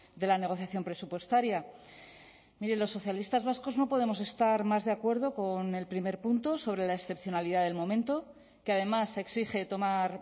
de la negociación presupuestaria mire los socialistas vascos no podemos estar más de acuerdo con el primer punto sobre la excepcionalidad del momento que además exige tomar